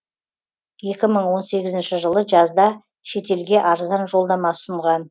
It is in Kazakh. екі мың он сегізінші жылы жазда шетелге арзан жолдама ұсынған